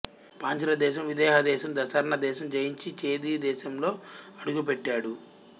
పాంచాలదేశం విదేహదేశం దశార్ణ దేశం జయించి ఛేది దేశంలో అడుగుపెట్టాడు